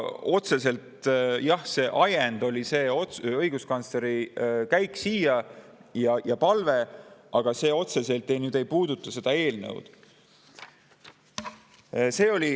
Jah, see ajend oli õiguskantsleri käik siia ja tema palve, aga see otseselt ei puuduta seda eelnõu.